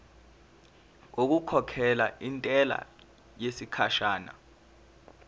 ngokukhokhela intela yesikhashana